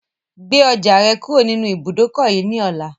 Gbe ọjà rẹ kúrò nínú ibùdókọ̀ yìí ni ọ̀la!